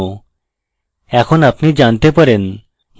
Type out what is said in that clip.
aah! এখন আপনি জানতে পারেন